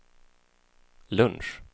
lunch